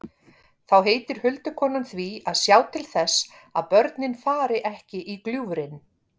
Þá heitir huldukonan því að sjá til þess að börnin fari ekki í gljúfrin.